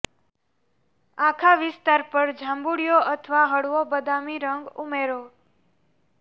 આખા વિસ્તાર પર જાંબુડિયો અથવા હળવો બદામી રંગ ઉમેરો